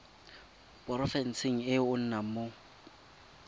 porofenseng e o nnang mo